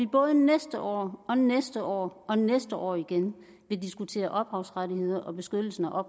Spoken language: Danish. både næste år og næste år og næste år igen vil diskutere ophavsrettigheder og beskyttelsen af